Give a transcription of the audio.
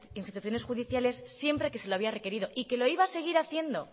instituciones judiciales siempre que se le había requerido y que lo iba a seguir haciendo